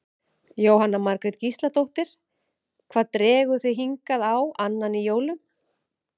Jóhanna Margrét Gísladóttir: Hvað dregur þig hingað á annan í jólum?